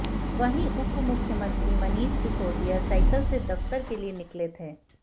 वहीं उप मुख्यमंत्री मनीष सिसौदिया साइकिल से दफ्तर के लिए निकले थे